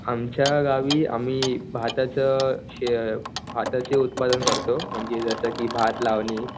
आमच्या गावी आम्ही भाताचं भाताचे उत्पादन करतो म्हणजे जसं की भात लावणी